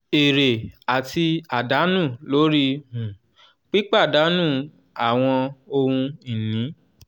èrè àti àdánù lórí um pípàdànù àwọn ohun ìní.